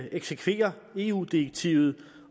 eksekverer eu direktivet